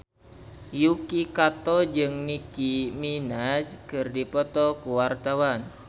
Yuki Kato jeung Nicky Minaj keur dipoto ku wartawan